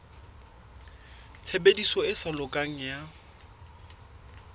tshebediso e sa lokang ya